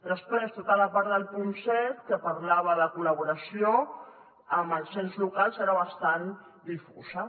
després tota la part del punt set que parlava de col·laboració amb els ens locals era bastant difusa